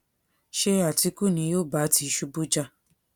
ṣé àtìkù ni yóò bá tìṣubù jà